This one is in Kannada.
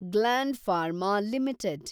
gland Pharma limited